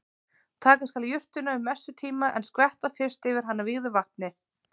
Taka skal jurtina um messutíma en skvetta fyrst yfir hana vígðu vatni.